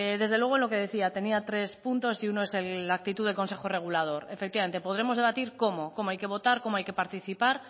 desde luego lo que decía tenía tres puntos y uno es la actitud del consejo regulador efectivamente podremos debatir cómo cómo hay que votar cómo hay que participar